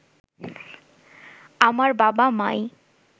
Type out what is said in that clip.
আমার বাবা মাই